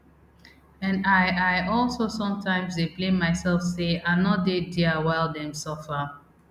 and i i also sometimes dey blame mysef say i no dey dia while dem suffer